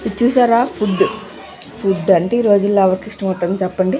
ఇది చూసారా food food అంటే ఈ రోజుల్లో ఎవరికి ఇష్టం ఉండదు చెప్పండి.